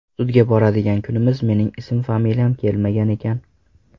Sudga boradigan kunimiz mening ism-familyam kelmagan ekan.